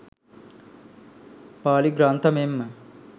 පාලි ග්‍රන්ථ මෙන්ම